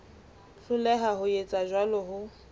hloleha ho etsa jwalo ho